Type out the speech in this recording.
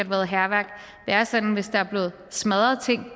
været hærværk det er sådan at hvis der er blevet smadret ting